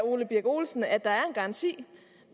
ole birk olesen at der er en garanti